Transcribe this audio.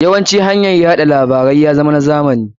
Yawancin hanyar wasa labarai ya zama na zamani.